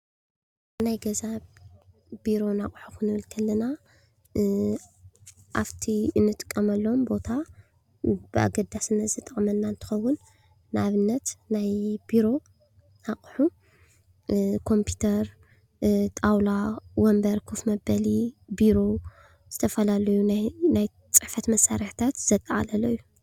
ናይ ገዛን ቤሮን ኣቁሑት ክንብል ከለና ኣፍቲ ንጥቅመሎም ቦታ በኣገዳስነት ዝጠቅመና እንትኸውን፤ ንኣብነት ናይ ቤሮ ኣቁሑ ኮምፒተር። ጣውላ። ወንበር ከፍ መብሊ ።ቤሮ ዝተፈላለዩ ናይ ፅሒፈት መሰርሕታት ዘጠቓለለ እዩ።